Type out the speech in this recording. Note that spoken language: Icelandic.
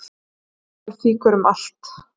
Askan fýkur út um allt